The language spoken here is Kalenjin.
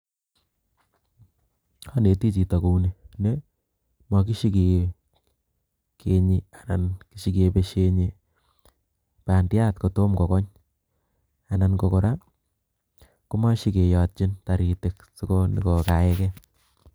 aneti chito kouni, ni magisheenyi anan shigibenyi pandyat kotoma kokony anan kora komashigeyatchin taritik sigogaegee.